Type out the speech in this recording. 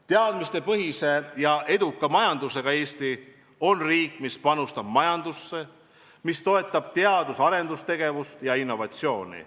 Teadmistepõhise ja eduka majandusega Eesti on riik, mis panustab majandusse, mis toetab teadus-arendustegevust ja innovatsiooni.